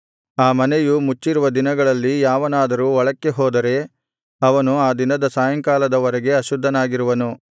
ಆ ಮನೆಯು ಮುಚ್ಚಿರುವ ದಿನಗಳಲ್ಲಿ ಯಾವನಾದರೂ ಒಳಕ್ಕೆ ಹೋದರೆ ಅವನು ಆ ದಿನದ ಸಾಯಂಕಾಲದ ವರೆಗೆ ಅಶುದ್ಧನಾಗಿರುವನು